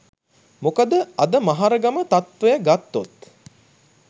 මොකද අද මහරගම තත්වය ගත්තොත්